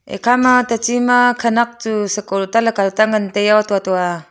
ekha ma tachi ma khanak chu sako ta lako ta ngan taiyo to to ah--